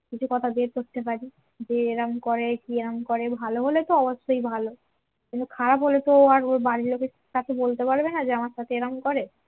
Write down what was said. কিছু কথা বের করতে পারি যে এরাম করে কেরাম করে ভালো হলে তো অবশ্যই ভালো কিন্তু খারাপ হলে তো আর ওর বাড়ির লোকের কাছে বলতে পারবে না যে আমার সাথে এরম করে